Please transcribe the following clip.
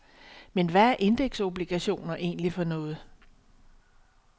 Men hvad er indeksobligationer egentlig for noget?